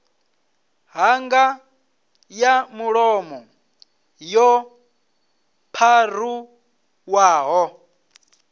ṱhanga ya mulomo yo pharuwaho